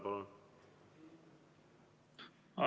Palun!